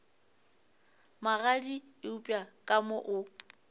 magadi eupša ka mo o